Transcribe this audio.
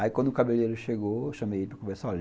Aí, quando o cabeleireiro chegou, eu chamei ele para conversar.